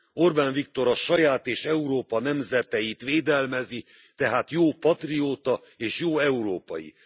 Orbán Viktor a saját és Európa nemzeteit védelmezi, tehát jó patrióta és jó európai.